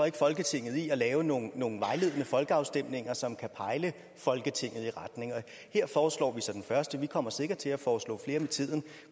ikke folketinget i at lave nogle nogle vejledende folkeafstemninger som kan pejle folketinget i nogle retninger her foreslår vi så den første vi kommer sikkert til at foreslå flere med tiden